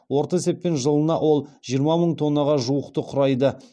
орта есеппен жылына ол жиырма мың тоннаға жуықты құрайды